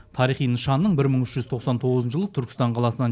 тарихи нышанның бір мың үш жүз тоқсан тоғызыншы жылы түркістан қаласынан